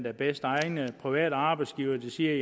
er bedst egnede private arbejdsgivere siger